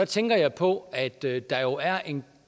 tænker jeg på at der der jo er en